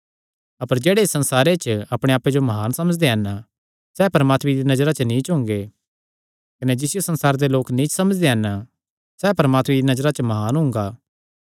अपर जेह्ड़े इस संसारे च अपणे आप्पे जो म्हान समझदे हन सैह़ परमात्मे दिया नजरा नीच हुंगे कने जिसियो संसारे दे लोक नीच समझदे हन सैह़ परमात्मे दिया नजरा च म्हान हुंगे